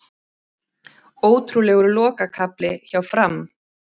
Ótrúlegur lokakafli hjá Fram